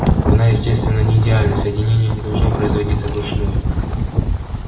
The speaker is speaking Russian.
она естественно не идеальна соединение не должно производиться вручную